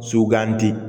Sugandi